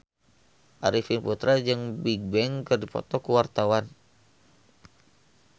Arifin Putra jeung Bigbang keur dipoto ku wartawan